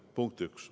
Punkt üks.